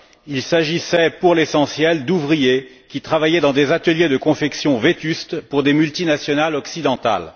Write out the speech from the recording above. Il s'agissait pour l'essentiel d'ouvriers, qui travaillaient dans des ateliers de confection vétustes pour des multinationales occidentales.